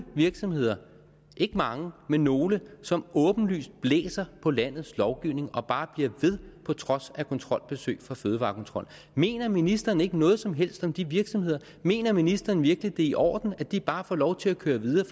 virksomheder ikke mange men nogle som åbenlyst blæser på landets lovgivning og bare bliver ved på trods af kontrolbesøg fra fødevarekontrollen mener ministeren ikke noget som helst om de virksomheder mener ministeren virkelig det er i orden at de bare får lov til at køre videre